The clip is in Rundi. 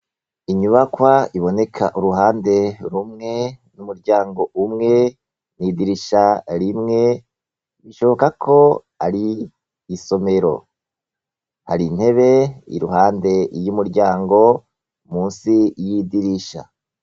Inyubakwa iboneka uruhande rumwe n'umuryango umwe n'idirisha rimwe, bishoboka ko ari isomero. Hari intebe iruhande y'umuryango munsi y'idirisha.